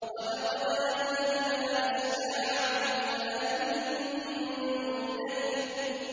وَلَقَدْ أَهْلَكْنَا أَشْيَاعَكُمْ فَهَلْ مِن مُّدَّكِرٍ